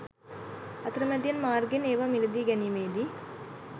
අතරමැදියන් මාර්ගයෙන් ඒවා මිලදී ගැනීමේදී